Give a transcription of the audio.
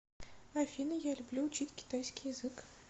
афина я люблю учить китайский язык